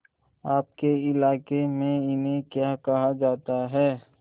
आपके इलाके में इन्हें क्या कहा जाता है